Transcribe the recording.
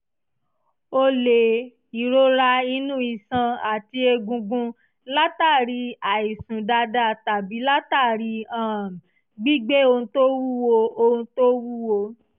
ó lè ìrora inúiṣan àti egungun látàri àìsùn dáadáa tàbí látàri um gbígbé ohun tó wúwo ohun tó wúwo